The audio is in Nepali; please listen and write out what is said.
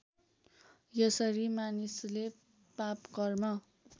यसरी मानिसले पापकर्म